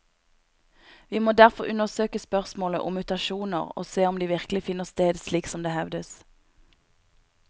Vi må derfor undersøke spørsmålet om mutasjoner, og se om de virkelig finner sted slik som det hevdes.